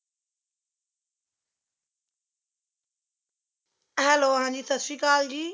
Hello Haji ਸਤਸ਼੍ਰੀਅਕਾਲ ਜੀ